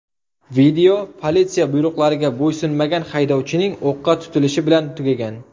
Video politsiya buyruqlariga bo‘ysunmagan haydovchining o‘qqa tutilishi bilan tugagan.